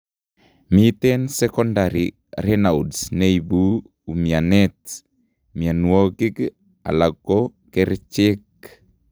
Miten secondary Raynud neibu umianet, mianwokik alako kercheek